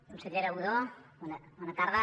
consellera budó bona tarda